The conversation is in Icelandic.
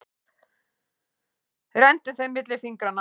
Renndi þeim milli fingranna.